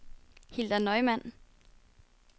Hilda Neumann